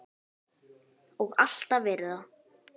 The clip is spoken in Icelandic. Og alltaf verið það.